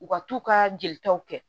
U ka t'u ka jelitaw kɛ